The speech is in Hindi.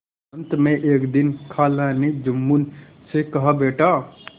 अंत में एक दिन खाला ने जुम्मन से कहाबेटा